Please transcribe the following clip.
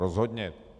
Rozhodně.